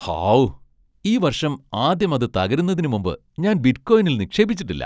ഹാവൂ! ഈ വർഷം ആദ്യം അത് തകരുന്നതിന് മുമ്പ് ഞാൻ ബിറ്റ്കോയിനിൽ നിക്ഷേപിച്ചിട്ടില്ല.